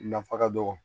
Nafa ka dɔgɔ